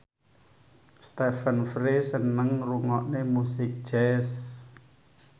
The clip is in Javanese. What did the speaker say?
Stephen Fry seneng ngrungokne musik jazz